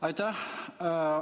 Aitäh!